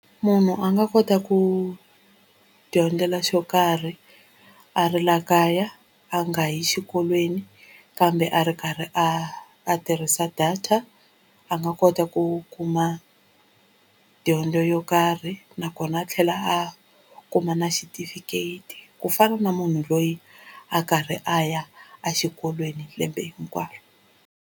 Munhu a nga kota ku dyondzela xo karhi a ri la kaya a nga yi xikolweni kambe a ri karhi a a tirhisa data a nga kota ku kuma dyondzo yo karhi nakona a tlhela a kuma na xitifiketi ku fana na munhu loyi a karhi a ya a xikolweni lembe hinkwaro.